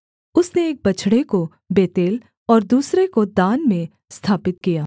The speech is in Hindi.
उसने एक बछड़े को बेतेल और दूसरे को दान में स्थापित किया